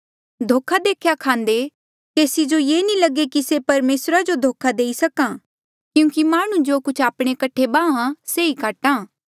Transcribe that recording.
धोखा देख्या खांदे केसी जो ये नी लगे कि से परमेसरा जो धोखा देई सक्हा क्यूंकि माह्णुं जो कुछ आपणे कठे बाहां से ई काटहा